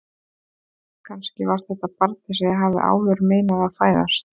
Kannski var þetta barnið sem ég hafði áður meinað að fæðast.